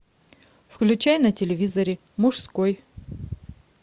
включай на телевизоре мужской